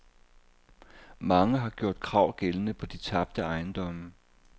Mange har gjort krav gældende på de tabte ejendomme.